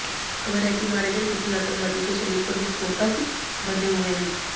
खबर है कि मारे गये किसी आतंकवादी के शरीर पर विस्फोटक बंधे हुए हैं